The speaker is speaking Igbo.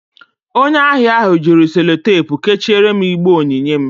Onye ahịa ahụ jiri Sellotepụ kechiere m igbe onyinye m